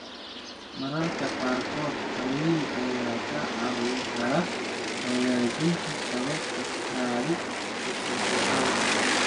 Mararka qaarkood qalliin ayaa kaa caawin kara hagaajinta sababta kaadi-ceshad la'aanta.